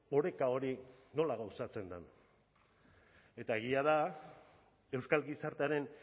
oreka hori nola gauzatzen den eta egia da euskal gizartearen